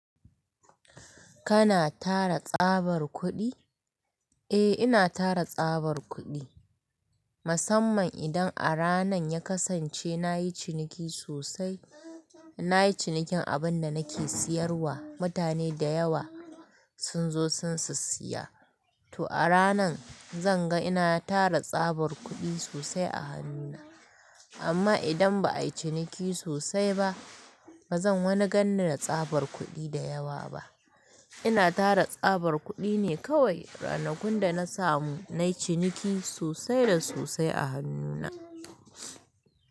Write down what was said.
Kana tara tsabar kuɗi? Eh, ina tara tsabar kuɗi. Musamman idan a ranan ya kasance na yi ciniki sosai, na yi cinikin abun da nake siyarwa. Mutane dayawa, sun zo sun sissiya. To a ranan zan ga ina tara tsabar kuɗi sosai a hannuna. Amma idan ba ayi ciniki sosai ba, bazan wani ganni na tsabar kuɗi da yawa ba. Ina tara tsabar kuɗi ne kawai, ranakun da na samu na yi ciniki sosai da sosai a hannuna.